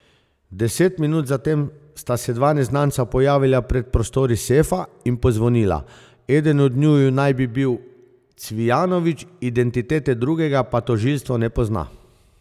Deset minut zatem sta se dva neznanca pojavila pred prostori sefa in pozvonila, eden od njiju naj bi bil Cvijanović, identitete drugega pa tožilstvo ne pozna.